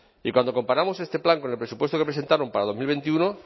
y cuando comparamos este plan con el presupuesto que presentaron para dos mil veintiuno